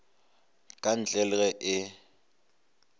ka ntle le ge e